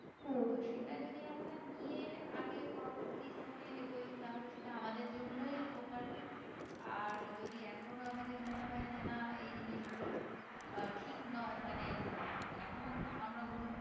তো সেটা যদি আমরা নিয়ে আগে পরবর্তী জীবনে এগোই তা হলে সেটা আমাদের জন্যই উপকার আর যদি এখনো আমাদের মনে হয়ে যে না এই জিনিসগুলো আহ ঠিক নয় মানে এখনো আমরা গুরুত্ব